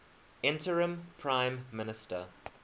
interim prime minister